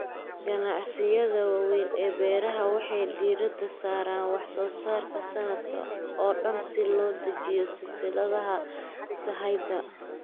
Ganacsiyada waaweyn ee beeraha waxay diiradda saaraan wax soo saarka sanadka oo dhan si loo dejiyo silsiladaha sahayda.